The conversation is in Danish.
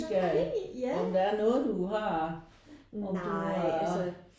Nej ja nej altså